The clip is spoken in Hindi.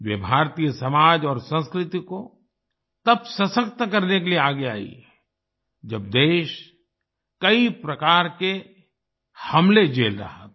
वे भारतीय समाज और संस्कृति को तब सशक्त करने के लिए आगे आईं जब देश कई प्रकार के हमले झेल रहा था